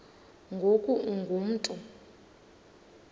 ngoku ungu mntu